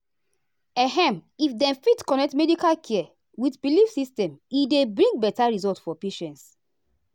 ehm if dem fit connect medical care with belief system e dey bring better result for patients.